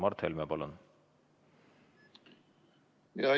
Mart Helme, palun!